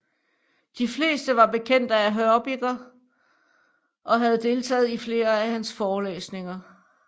De fleste var bekendte af Hörbiger og havde deltaget i flere af hans forelæsninger